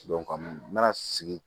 n mana sigi